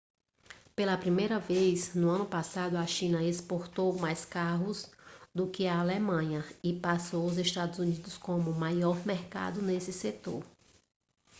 pela primeira vez no ano passado a china exportou mais carros do que a alemanha e passou os estados unidos como maior mercado nesse setor